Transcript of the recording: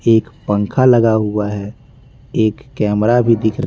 एक पंखा लगा हुआ है एक कैमरा भी दिख --